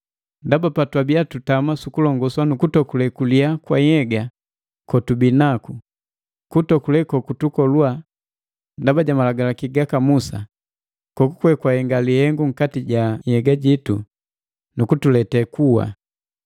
Ndaba patwabia tutama sukulongoswa na kutokule kuliya kwa nhyega kotubii naku, kutokule kokutukoluwa ndaba ja Malagalaki gaka Musa, kokukwe gahenga lihengu nkati ja nhyega jitu nukutulete kuwa.